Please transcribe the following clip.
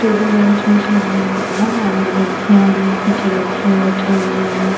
Table bench उंच लगा हुआ है आगे लड़कियां है पीछे लड़के है बैठे हुए है।